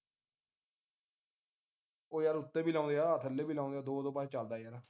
ਉਹ ਯਾਰ ਉਤੇ ਵੀ ਲਾਂਦੇ ਆ ਥੱਲੇ ਵੀ ਲਾਂਦੇ ਆ ਦੋ ਦੋ ਪਾਸੇ ਚੱਲਦਾ ਹੈ ਯਾਰ